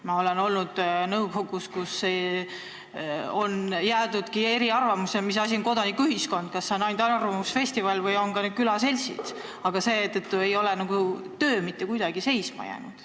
Mina olen olnud nõukogus, kus on jäädudki eri arvamustele selles, mis asi on kodanikuühiskond, kas see on ainult arvamusfestival või on need ka külaseltsid, aga seetõttu ei ole töö mitte kuidagi seisma jäänud.